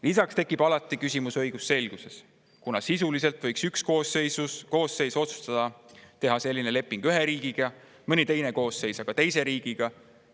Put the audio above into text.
Lisaks tekib alati küsimus õigusselgusest, kuna sisuliselt võiks üks koosseis otsustada teha selline leping ühe riigiga, mõni teine koosseis aga teise riigiga.